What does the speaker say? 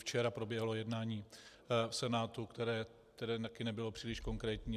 Včera proběhlo jednání v Senátu, které taky nebylo příliš konkrétní.